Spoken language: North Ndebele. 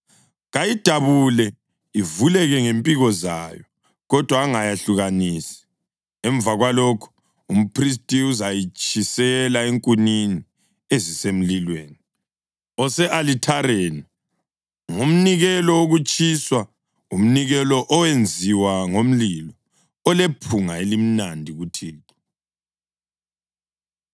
Kayidabule ivuleke ngempiko zayo kodwa angayehlukanisi, emva kwalokho, umphristi uzayitshisela enkunini ezisemlilweni ose-alithareni. Ngumnikelo wokutshiswa, umnikelo owenziwa ngomlilo, olephunga elimnandi kuThixo.’ ”